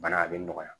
Bana a bɛ nɔgɔya